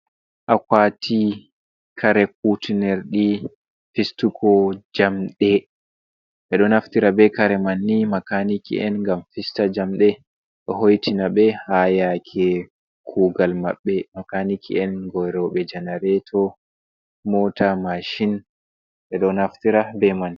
Akwati kare kutinirɗi fistugo jamɗe, ɓe ɗo naftira be kare man nii makaniki’en ngam fista jamɗe, ɗo hoitina ɓe haa yake kugal maɓɓe. Makaniki en geerooɓe janareto, mota, mashin, ɓe ɗo naftira ɓe man.